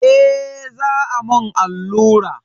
Eh za a mun allura.